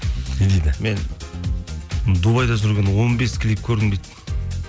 не дейді мен дубайда жүргенде он бес клип көрдім дейді